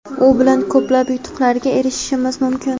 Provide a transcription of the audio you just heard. u bilan ko‘plab yutuqlarga erishishimiz mumkin.